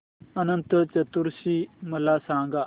अनंत चतुर्दशी मला सांगा